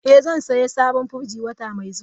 Eh, zan sayi sabon firji wata mai zuwa.